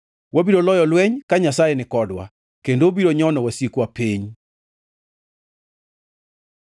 Wabiro loyo lweny ka Nyasaye nikodwa, kendo obiro nyono wasikwa piny.